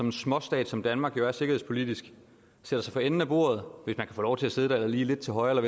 en småstat som danmark jo er sikkerhedspolitisk satte sig for enden af bordet hvis man få lov til at sidde der eller lige lidt til højre